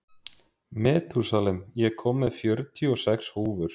Metúsalem, ég kom með fjörutíu og sex húfur!